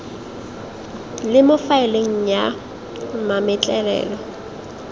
le mo faeleng ya mametlelelo